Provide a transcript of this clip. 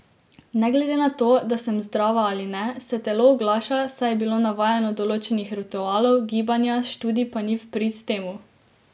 Ne glede na to, da sem zdrava ali ne, se telo oglaša, saj je bilo navajeno določenih ritualov, gibanja, študij pa ni v prid temu.